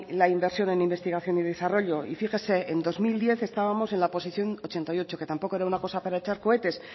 la inversión en investigación y desarrollo y fíjese en dos mil diez estábamos en la posición ochenta y ocho que tampoco era una cosa para echar cohetes